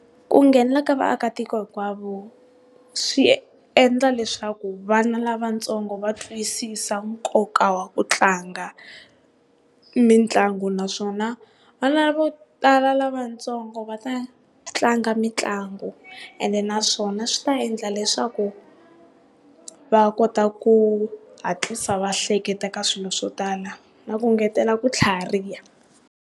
Ku nghenelela ka vaakatiko hinkwavo, swi endla leswaku vana lavatsongo va twisisa nkoka wa ku tlanga mitlangu, naswona vana vo tala lava vatsongo va ta tlanga mitlangu and naswona swi ta endla leswaku va kota ku hatlisa va hleketa ka swilo swo tala na ku ngetela ku tlhariha.